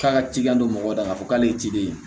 K'a ka cidenw don mɔgɔw dala k'a fɔ k'ale ye ciden